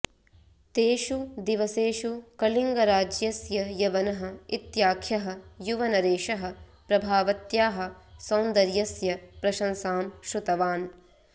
तेषु दिवसेषु कलिङ्गराज्यस्य यवनः इत्याख्यः युवनरेशः प्रभावत्याः सौन्दर्यस्य प्रशंसां श्रुतवान्